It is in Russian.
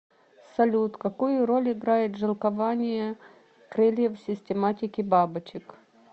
салют какую роль играет жилкование крыльев в систематике бабочек